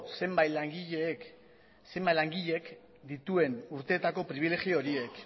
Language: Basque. zenbait langileek zenbat langileek dituen urteetako pribilegio horiek